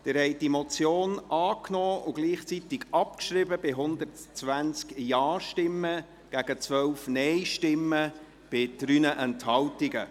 Sie haben diese Motion angenommen und gleichzeitig abgeschrieben mit 120 Ja- gegen 12 Nein-Stimmen bei 3 Enthaltungen.